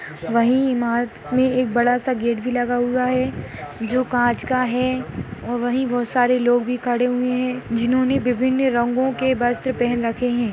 वही इमारत मे एक बड़ा सा गेट भी लगा हुआ है जो कांच का है और वही बहुत सारे लोग भी खड़े हुए है जिन्होंने विभिन्न रंगों के वस्त्र पहन रखे है।